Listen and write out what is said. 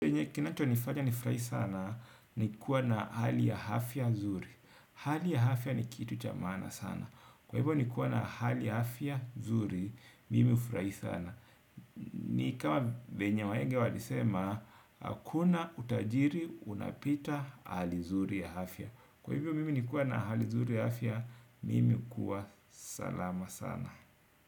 Kinacho nifanya nifurahi sana ni kuwa na hali ya hafya zuri, hali ya hafya ni kitu cha maana sana, kwa hivyo nikuwa na hali ya hafya zuri, mimi ufurai sana. Ni kama venye wahega walisema, hakuna utajiri unapita hali zuri ya hafya, kwa hivyo mimi nikuwa na hali zuri ya hafya, mimi ukuwa salama sana.